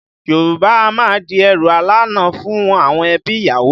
Yorùbá a máa di ẹrù alána fún àwọn ẹbí ìyàwó